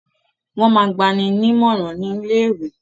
Wọ́n máa gba ni ní ìmọ̀ràn ni ilé ìwé.